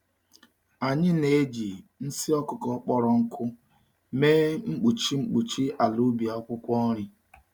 Anyị na-eji nsị ọkụkọ kpọrọ nkụ mee mkpuchi mkpuchi ala ubi akwụkwọ nri.